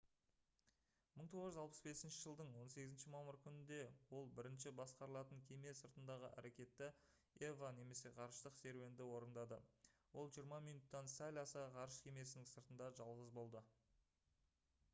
1965 жылдың 18 мамыр күнінде ол бірінші басқарылатын кеме сыртындағы әрекетті eva немесе «ғарыштық серуенді» орындады. ол жиырма минуттан сәл аса ғарыш кемесінің сыртында жалғыз болды